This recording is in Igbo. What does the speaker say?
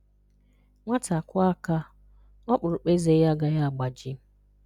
Nwáta kụ̀ọ̀ àká, ọkpụrụkpụ́ èzè yà agàghà agbàjí